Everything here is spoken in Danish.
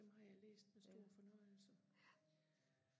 dem har jeg læst med stor fornøjelse